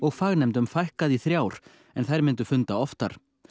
fagnefndum fækkað í þrjár en þær myndu funda oftar